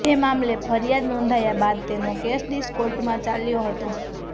જે મામલે ફરિયાદ નોંધાયા બાદ તેનો કેશ ડીસા કોર્ટમાં ચાલ્યો હતો